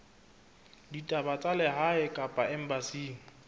ditaba tsa lehae kapa embasing